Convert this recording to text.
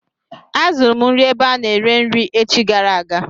Azụrụ m nri ebe a na-ere nri echi gara aga.